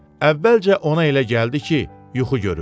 Əvvəlcə ona elə gəldi ki, yuxu görür.